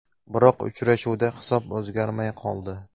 Biroq uchrashuvda hisob o‘zgarmay qoldi.